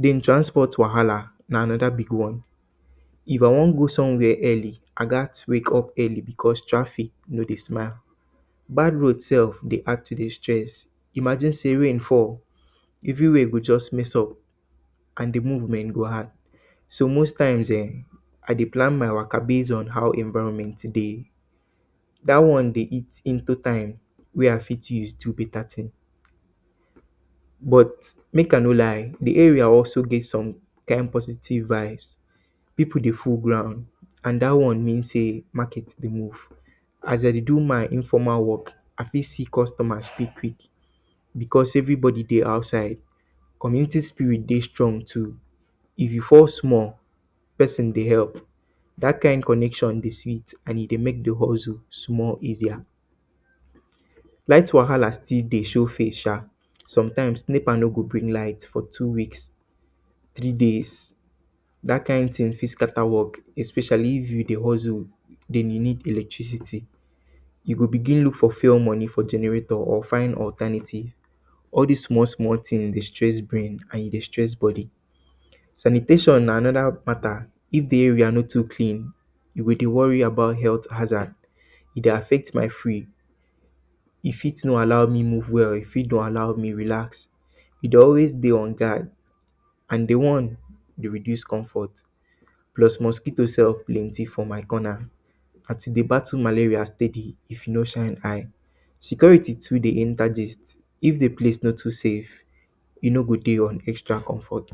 Den transport wahala, na anoda big one. If you wan go somewhere early, I gat wake up early because traffic no dey add to di stress. Imagine say rain fall, everywhere go just mix up. So, most times ehn, I dey plan my waka base on how environment dey. Dat one dey eat into time where I fit use to do beta tin. But, mek I no lie, di area also get some kind positive vibes. Pipu dey full am and dat one mean say market dey move. As I dey do my quick, quick because everybody dey outside, community spirit dey strong too. If you fall small, pesin go help, dat kind connection dey sweet and e dey mek di hustle more easier. Light wahala still dey show face sha. Sometimes, NEPA no go bring light for two week, three days especially if you dey hustle. Den, you nid electricity, you go begin look for fuel moni for generator or find alternative. All dis small, small tins dey stress brain, and e dey stress body. Sanitation na anoda pattern. If di area no too clean, you go dey worry about health hazard, e dey reduce comfort. Plus, mosquito sef plenti for my corner. Na to dey battle malaria steady if you no shine eye. Security too de enta gist if di place no dey safe, e no dey on extra comfort.